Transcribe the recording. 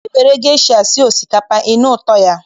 I nwere gesha sie osikapa, ị nụ ụtọ ya.